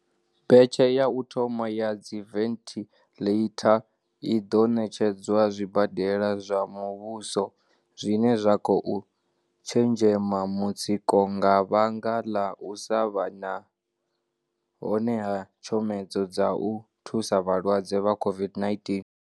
Betshe ya u thoma ya dziventhiḽeitha i ḓo ṋetshedzwa zwibadela zwa muvhuso zwine zwa khou tshenzhema mutsiko nga vhanga ḽa u sa vha hone ha tshomedzo dza u thusa vhalwadze vha COVID-19.